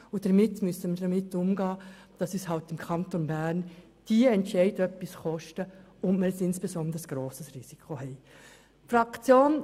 Folglich müssen wir damit umgehen, dass uns im Kanton Bern diese Entscheide etwas kosten und wir insbesondere ein grosses Risiko tragen.